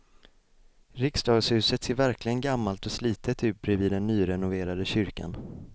Riksdagshuset ser verkligen gammalt och slitet ut bredvid den nyrenoverade kyrkan.